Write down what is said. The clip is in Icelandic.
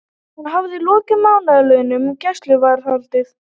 Hann hafði lokið mánaðarlöngu gæsluvarðhaldi.